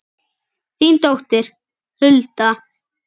Þín dóttir, Hulda.